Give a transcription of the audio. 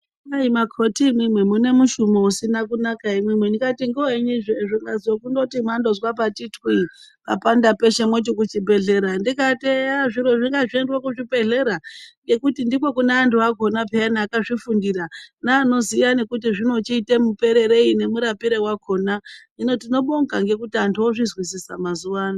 Makoti imimi mune mushumo usina kunaka imimi ndikati ngevenyi zvikazwi mandozwa pati twii papanda peshe moti kuchibhedhlera. Ndikati eya zviro ngazvindoendwe kuzvibhedhlera ngekuti ndiko kune antu akona peyana akazvifundira neanoziya kuti zvinochiite mupererei nemurapire vakona. Hino tinobonga ngekuti antu ozvizwisisa mazuva ano.